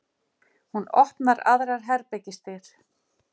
Hún opnar aðrar herbergisdyr.